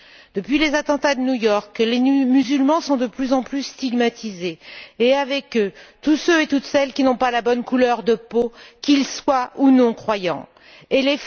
Depuis les attentats de New York, les musulmans sont de plus en plus stigmatisés et, avec eux, tous ceux et toutes celles qui n'ont pas la bonne couleur de peau, qu'ils soient croyants ou non.